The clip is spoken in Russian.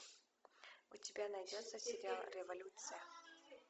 у тебя найдется сериал революция